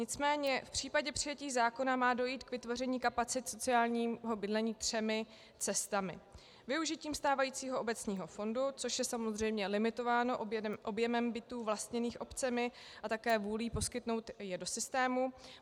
Nicméně v případě přijetí zákona má dojít k vytvoření kapacit sociálního bydlení třemi cestami: využitím stávajícího obecního fondu, což je samozřejmě limitováno objemem bytů vlastněných obcemi a také vůlí poskytnout je do systému.